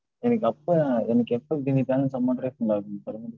எனக்கு அப்ப~, எனக்கு எப்ப மீதி balance amount refund ஆகுன்னு சொல்லுங்க.